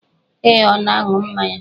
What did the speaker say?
Ee, ọ na-aṅụ mmanya